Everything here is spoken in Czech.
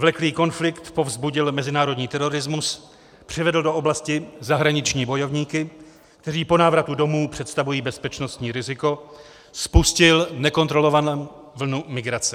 Vleklý konflikt povzbudil mezinárodní terorismus, přivedl do oblasti zahraniční bojovníky, kteří po návratu domů představují bezpečnostní riziko, spustil nekontrolovanou vlnu migrace.